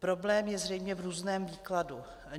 Problém je zřejmě v různém výkladu.